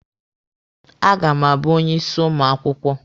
A ga m abụ onye isi ụmụ akwụkwọ.